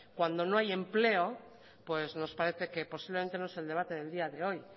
cuando no hay empleo nos parece que posiblemente no es el debate del día de hoy